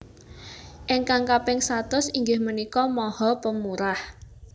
Ingkang kaping satus inggih menika maha pemurah